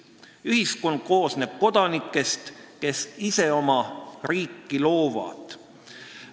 Ühiskond koosneb kodanikest, kes ise oma riiki loovad.